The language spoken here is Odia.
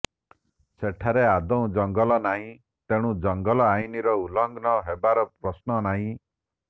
ସେଠାରେ ଆଦୌ ଜଙ୍ଗଲ ନାହିଁ ତେଣୁ ଜଙ୍ଗଲ ଆଇନର ଉଲଂଘନ ହେବାର ପ୍ରଶ୍ନ ନାହିଁ